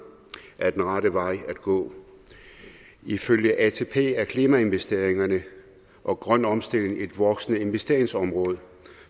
er den rette vej at gå ifølge atp er klimainvesteringerne og grøn omstilling et voksende investeringsområde